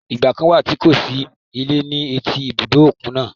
Ìgbà kàn wà tí kò sí ilé ní etí ibùdó òkun náà.